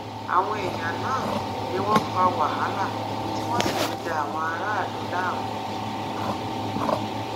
àwọn èèyàn náà ni wọn fa wàhálà tí wọn sì ń da àwọn aráàlú láàmú